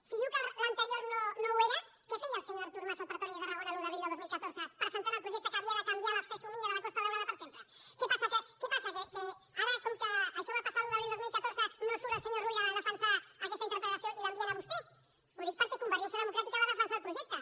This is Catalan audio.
si diu que l’anterior no ho era què feia el senyor artur mas al pretori de tarragona l’un d’abril de dos mil catorze presentant el projecte que havia de canviar la fesomia de la costa daurada per sempre què passa que ara com que això va passar l’un d’abril de dos mil catorze no surt el senyor rull a defensar aquesta interpel·lació i l’envien a vostè ho dic perquè convergència democràtica va defensar el projecte